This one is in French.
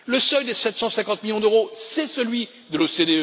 Le seuil des 750 millions d'euros, c'est celui de l'OCDE.